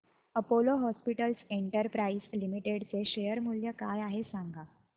Apollo Hospitals Enterprise Limited चे share मूल्य काय आहे सांगा